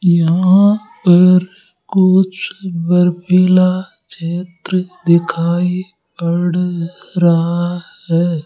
यहां पर कुछ बर्फीला क्षेत्र दिखाई पड़ रहा है।